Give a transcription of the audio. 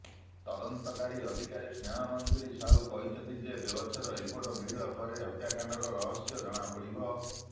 ତଦନ୍ତକାରୀ ଅଧିକାରୀ ସ୍ନେହାମଞ୍ଜୁରି ସାହୁ କହିଛନ୍ତି ଯେ ବ୍ୟବଚ୍ଛେଦ ରିପୋର୍ଟ ମିଳିବା ପରେ ହତ୍ୟାକାଣ୍ଡର ରହସ୍ୟ ଜଣାପଡ଼ିବ